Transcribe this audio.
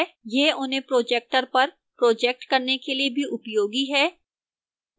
यह उन्हें projector पर projecting करने के लिए भी उपयोगी है